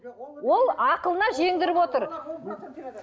ол ақылына жеңдіріп отыр